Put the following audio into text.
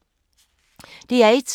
DR1